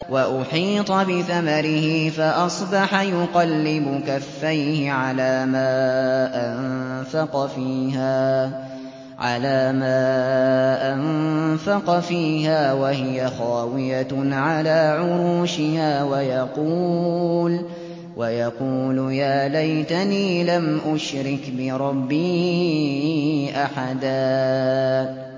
وَأُحِيطَ بِثَمَرِهِ فَأَصْبَحَ يُقَلِّبُ كَفَّيْهِ عَلَىٰ مَا أَنفَقَ فِيهَا وَهِيَ خَاوِيَةٌ عَلَىٰ عُرُوشِهَا وَيَقُولُ يَا لَيْتَنِي لَمْ أُشْرِكْ بِرَبِّي أَحَدًا